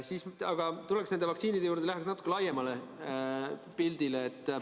Aga tuleks nende vaktsiinide juurde, vaataks natuke laiemat pilti.